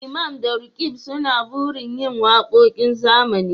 Imam da Roqeeb suna burin yin wakokin zamani